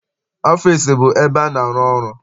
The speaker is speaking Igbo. Ọfịịsi bụ ebe a na-arụ ọrụ.